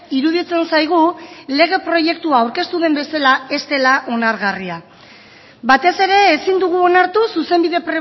iruditzen zaigu lege proiektua aurkeztu den bezala ez dela onargarria batez ere ezin dugu onartu zuzenbide